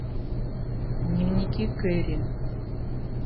дневники кэрри